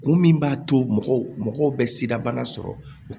Kun min b'a to mɔgɔw bɛ sidabana sɔrɔ